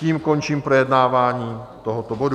Tím končím projednávání tohoto bodu.